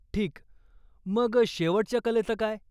ठीक. मग शेवटच्या कलेचं काय?